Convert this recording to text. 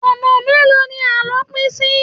Ọ̀nà mélòó ni àlọ́ pín sí?